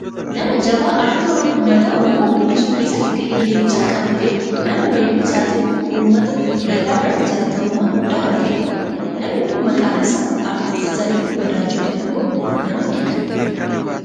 nama jabaa aartii uummata Oromoo guddisuu keessatti gahee leencaa qabuufi nama weelluu isaatiin uumata bal'aa biratti jaallatamummaa guddaa horatedha. namni kun maqaan isaa aartisti Zarihuun Wadajoo jedhamuun nama beekamu dha.